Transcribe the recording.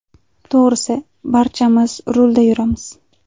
To‘g‘risi, barchamiz rulda yuramiz.